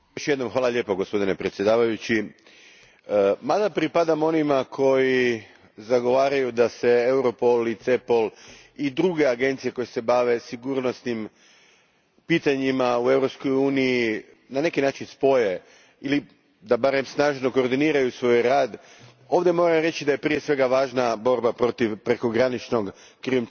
Gospodine predsjedniče, mada pripadamo onima koji zagovaraju da se Europol i CEPOL i druge agencije koje se bave sigurnosnim pitanjima u Europskoj uniji na neki način spoje ili da barem snažno koordiniraju svoj rad, ovdje prije svega moram reći da je važna borba protiv prekograničnog krijumčarenja,